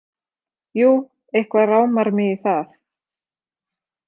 Jú, eitthvað rámar mig í það.